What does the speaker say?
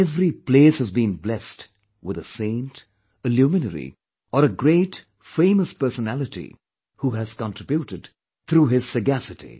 Every place has been blessed with a saint, a luminary or a great, famous personality who has contributed through his sagacity